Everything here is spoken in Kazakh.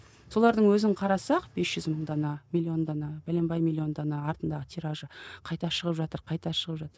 солардың өзін қарасақ бес жүз мың дана миллион дана бәленбай миллион дана артындағы тиражы қайта шығып жатыр қайта шығып жатыр